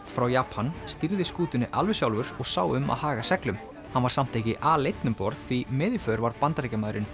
frá Japan stýrði skútunni alveg sjálfur og sá um að haga seglum hann var samt ekki aleinn um borð því með í för var Bandaríkjamaðurinn